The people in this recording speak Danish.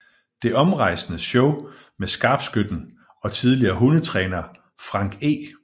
Det omrejsende show med skarpskytten og tidligere hundetræner Frank E